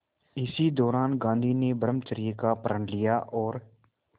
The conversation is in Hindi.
इसी दौरान गांधी ने ब्रह्मचर्य का प्रण लिया और